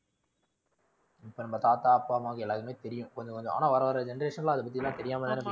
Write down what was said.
இப்போ நம்ம தாத்தா அப்பா அம்மா எல்லாருக்குமே தெரியும் ஆனா கொஞ்சம் கொஞ்சம். ஆனா வர வர generation லாம் அதை பத்தி தெரியாம தான